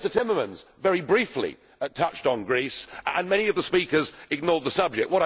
Mr Timmermans very briefly touched on Greece and many of the speakers ignored the subject.